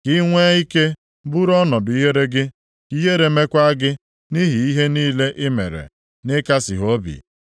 Ka i nwee ike bụrụ ọnọdụ ihere gị, ka ihere mekwa gị nʼihi ihe niile i mere, nʼịkasị ha obi.